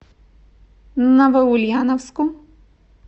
новоульяновску